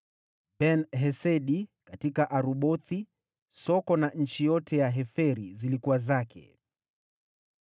Ben-Hesedi: katika Arubothi (Soko na nchi yote ya Heferi zilikuwa zake);